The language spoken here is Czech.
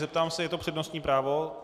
Zeptám se, je to přednostní právo?